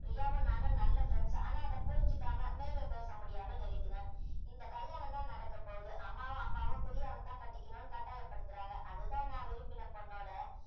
பிரியாவும் நானும் நல்ல friends ஆனா அத புரிஞ்சுக்காம மேலே பேச முடியாமல் நிறுத்தினான் இந்த கல்யாணம் தான் நடக்க போவுது அம்மாவும் அப்பாவும் பிரியாவை தான் கட்டிக்கணும்னு கட்டாயப்படுத்துறாங்க அதுதான் நான் விரும்பின பெண்ணோட